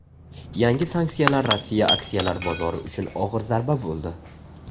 Yangi sanksiyalar Rossiya aksiyalar bozori uchun og‘ir zarba bo‘ldi.